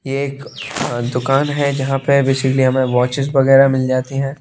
यह एक अ दुकान है जहां पे बेसिकली हमें वॉचेस वगैरह मिल जाती हैं।